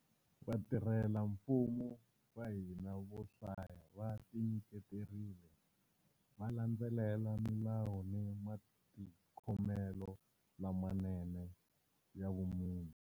Vatirhelamfumo va hina vo hlaya va tinyiketerile, va landzelela milawu ni matikhomelo lamanene ya vumunhu.